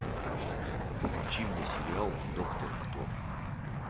включи мне сериал доктор кто